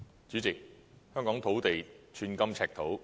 主席，香港土地寸金尺土。